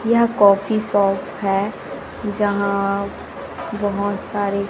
यह coffee shop है जहां बहोत सारे--